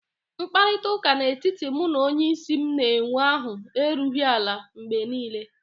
Mkparịta ụka n'etiti mụ na onyeisi m na-enwe ahụ erughị ala mgbe niile